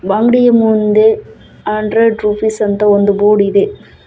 ಅಂಗಡಿಯ ಮುಂದೆ hundred rupees ಅಂತ ಒಂದು ಬೋರ್ಡ್ ಇದೆ.